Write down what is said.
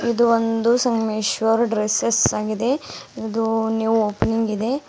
ಇದು ಒಂದು ಸಂಗಮೇಶ್ವರ್ ಡ್ರೆಸ್ಸೆಸ್ ಆಗಿದೆ ಇದು ನ್ಯೂ ಓಪನಿಂಗ್ ಇದೆ.